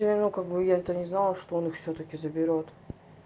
я ну как бы я это не знала что он всё-таки заберёт